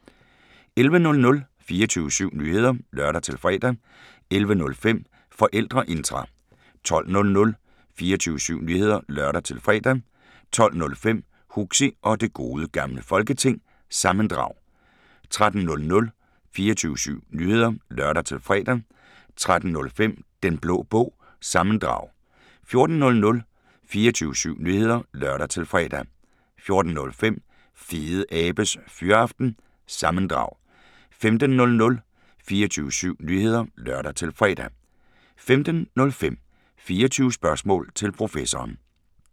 11:00: 24syv Nyheder (lør-fre) 11:05: Forældreintra 12:00: 24syv Nyheder (lør-fre) 12:05: Huxi og det Gode Gamle Folketing – sammendrag 13:00: 24syv Nyheder (lør-fre) 13:05: Den Blå Bog – sammendrag 14:00: 24syv Nyheder (lør-fre) 14:05: Fedeabes Fyraften – sammendrag 15:00: 24syv Nyheder (lør-fre) 15:05: 24 Spørgsmål til Professoren